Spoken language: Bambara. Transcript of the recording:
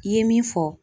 I ye min fɔ